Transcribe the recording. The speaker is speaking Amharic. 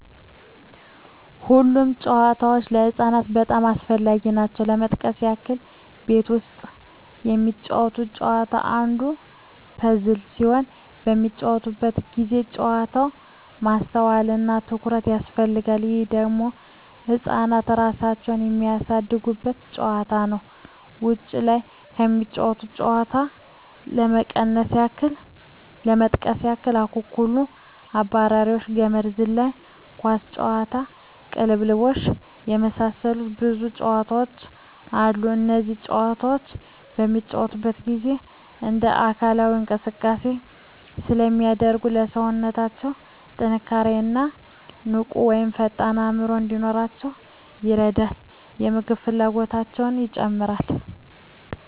ሁሉም ጨዋታዎች ለህፃናት በጣም አስፈላጊ ናቸው ለመጥቀስ ያክል ቤት ውስጥ የሚጫወቱት ጨዋታ አንዱ ፐዝል ሲሆን በሚጫወቱበት ጊዜ ጨዋታው ማስተዋል እና ትኩረት ይፈልጋል ይህ ደግሞ ህፃናት እራሳቸውን የሚያሳድጉበት ጨዋታ ነው ውጭ ላይ ከሚጫወቱት ጨዋታዎች ለመጥቀስ ያክል አኩኩሉ....፣አብራሪዎች፣ ገመድ ዝላይ፣ ኳስ ጨዋታ፣ ቅልብልቦሽ የመሳሰሉት ብዙ ጨዋታዎች አሉ እነዚህ ጨዋታዎች በሚጫወቱበት ጊዜ እንደ አካላዊ እንቅስቃሴ ስለሚያደርጉ ለሠውነታው ጥንካሬ እና ንቁ ወይም ፈጣን አዕምሮ እንዲኖራቸው ይረዳል የምግብ ፍላጎታቸው ይጨምራል